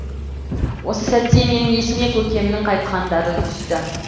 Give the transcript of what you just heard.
осы сәтте менің есіме көкемнің айтқандары түсті